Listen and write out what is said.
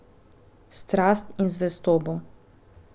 Strast in zvestobo.